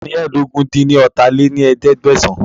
Taani ẹ́ẹdógún-dín-ní-ọ́ta lé ní ẹ̀ẹ́dẹ́gbẹ́sán